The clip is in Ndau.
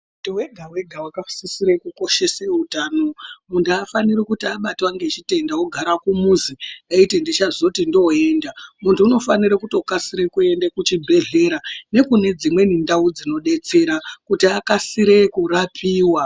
Muntu wega wega vakasisire kukoshese utano muntu haafaniri kuti abatwa ngechitenda wogara kumuzi eiti ndichazoti ndoenda, muntu unofanire kutokasire kuende kuchibhedhlera nekunedzimweni ndau dzinodetsera kuti akasire kurapiwa.